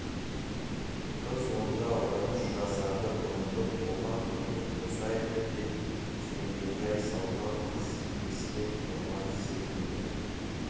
қыз онда он үш жасар-ды бұрындық оған көңіл қосайық деп жеңгетай салған қыз кескен томар секілді